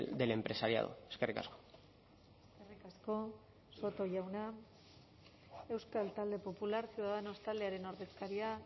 del empresariado eskerrik asko eskerrik asko soto jauna euskal talde popular ciudadanos taldearen ordezkaria